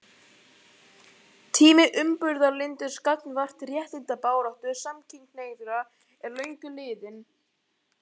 Tími umburðarlyndis gagnvart réttindabaráttu samkynhneigðra er löngu liðinn.